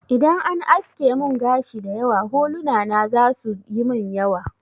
Idan an aske mun gashi dayawa, huluna na za su yimin yawa